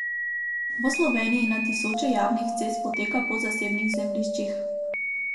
V Sloveniji na tisoče javnih cest poteka po zasebnih zemljiščih.